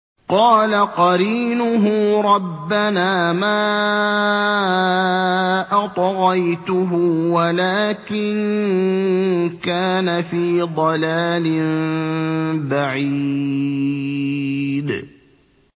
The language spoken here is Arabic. ۞ قَالَ قَرِينُهُ رَبَّنَا مَا أَطْغَيْتُهُ وَلَٰكِن كَانَ فِي ضَلَالٍ بَعِيدٍ